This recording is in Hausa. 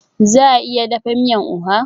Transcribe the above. Za a iya dafa miyan oha?